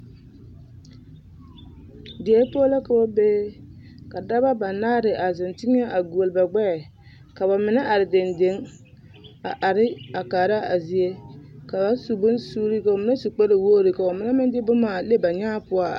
Die poɔ la ka ba be ka dɔba banaare a zeŋ teŋɛ a guoli ba gbɛɛ ka ba mine are dendeŋ a are a kasra a zie ka ba su bonsuuri ka ba mine su kparewogri ka ba mine meŋ de boma a le ba nyãã poɔ a are.